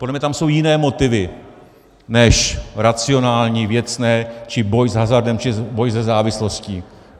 Podle mě tam jsou jiné motivy než racionální, věcné či boj s hazardem či boj se závislostí.